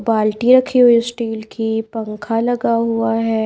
बाल्टी रखी हुई हैस्टील की पंखा लगा हुआ है।